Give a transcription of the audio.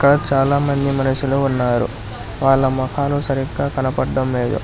ఇక్కడ చాలామంది మనషులు ఉన్నారు వాళ్ళ మొఖాలు సరిగ్గా కనపడ్డం లేదు.